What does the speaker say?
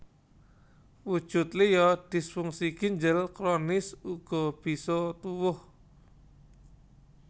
Wujud liya disfungsi ginjel kronis uga bisa tuwuh